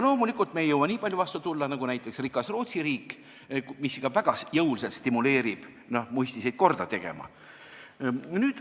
Loomulikult ei jõua me nii palju vastu tulla nagu näiteks rikas Rootsi riik, mis ikka väga jõuliselt stimuleerib muistiseid korda tegema.